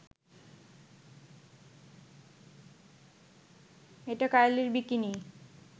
এটা কাইলির বিকিনি